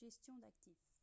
gestion d'actifs